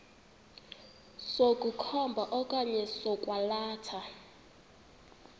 sokukhomba okanye sokwalatha